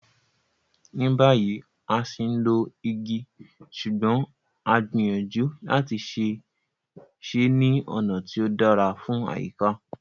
Ní báyìí, a ṣì ń lo igi ṣùgbọ́n a gbìyànjú láti ṣe é ní ọ̀nà tí ó dára fún àyíká.